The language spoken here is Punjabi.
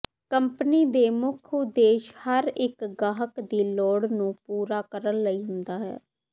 ਕੰਪਨੀ ਦੇ ਮੁੱਖ ਉਦੇਸ਼ ਹਰ ਇੱਕ ਗਾਹਕ ਦੀ ਲੋੜ ਨੂੰ ਪੂਰਾ ਕਰਨ ਲਈ ਹੁੰਦਾ ਹੈ